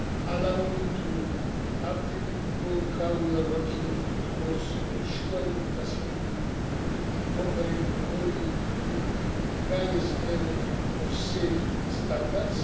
Allow me to update you on how we are working towards ensuring the facility will be operated only with the highest level of safety standards.